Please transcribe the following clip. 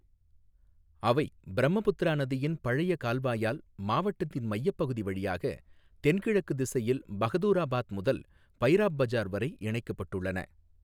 அவை பிரம்மபுத்திரா நதியின் பழைய கால்வாயால் மாவட்டத்தின் மையப்பகுதி வழியாக தென்கிழக்கு திசையில் பஹதூராபாத் முதல் பைராப் பஜார் வரை இணைக்கப்பட்டுள்ளன.